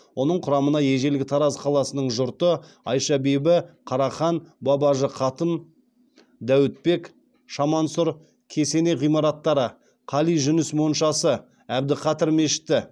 оның құрамына ежелгі тараз қаласының жұрты айша бибі қарахан бабажы қатын дәуітбек кесене ғимараттары қали жүніс моншасы әбдіқадыр мешіті